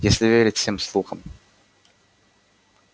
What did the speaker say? если верить всем слухам